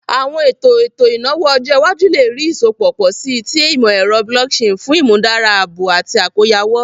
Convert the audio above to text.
Awọn eto eto inawo ọjọ iwaju le rii isọpọ pọ si ti imọ-ẹrọ blockchain fun imudara aabo ati akoyawo.